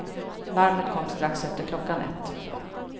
Larmet kom strax efter klockan ett.